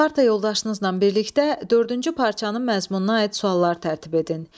Parta yoldaşlarınızla birlikdə dördüncü parçanın məzmununa aid suallar tərtib edin.